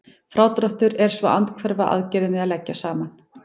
Frádráttur er svo andhverfa aðgerðin við að leggja saman.